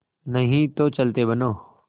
नहीं तो चलते बनो